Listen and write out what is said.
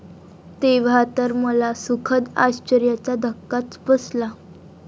तेव्हा तर मला सुखद आश्चर्याचा धक्काच बसला.